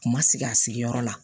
Kuma sigi a sigiyɔrɔ la